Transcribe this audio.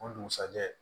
O dugusajɛ